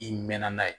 I mɛnna n'a ye